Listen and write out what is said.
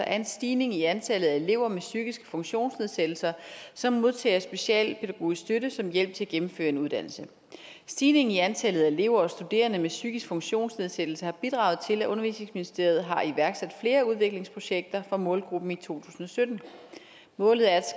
er en stigning i antallet af elever med psykiske funktionsnedsættelser som modtager specialpædagogisk støtte som hjælp til at gennemføre en uddannelse stigningen i antallet af elever og studerende med psykisk funktionsnedsættelse har bidraget til at undervisningsministeriet har iværksat flere udviklingsprojekter for målgruppen i to tusind og sytten målet er